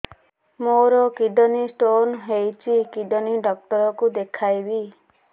ମୋର kidney stone ହେଇଛି kidney doctor କୁ ଦେଖାଇବି